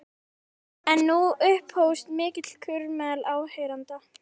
En nú upphófst mikill kurr meðal áheyrenda.